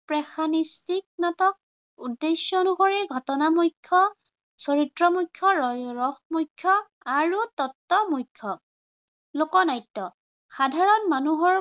passimistic নাটক। উদ্দেশ্য় অনসৰি ঘটনা মুখ্য়, চৰিত্ৰ মুখ্য়, ৰস মুখ্য় আৰু তত্ব মুখ্য়। লোকনাট্য়- সাধাৰণ মানুহৰ